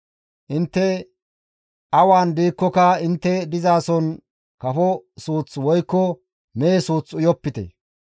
Intte awan diikkoka intte dizason kafo suuth woykko mehe suuth uyopite;